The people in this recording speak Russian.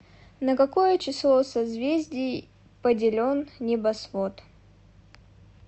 на какое число созвездий поделен небосвод